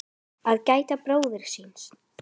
Að gæta bróður síns